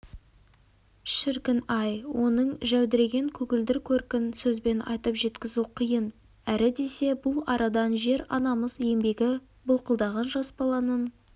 шіркін-ай оның жәудіреген көгілдір көркін сөзбен айтып жеткізу қиын әрі десе бұл арадан жер-анамыз еңбегі былқылдаған жас баланың